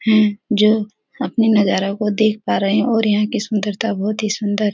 है जो अपनी नजारों को देख पा रहे है और यहाँ की सुंदरता बहुत ही सुंदर --